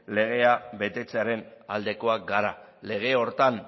legea betetzearen aldekoak gara lege horretan